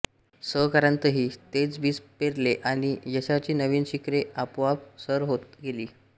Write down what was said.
सहकाऱ्यांतही तेच बीज पेरले आणि यशाची नवीन शिखरे आपोआप सर होत गेली